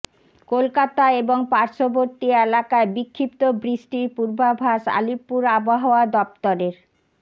কলকাতা এবং পার্শ্ববর্তী এলাকায় বিক্ষিপ্ত বৃষ্টির পূর্বাভাস আলিপুর আবহাওয়া দফতরের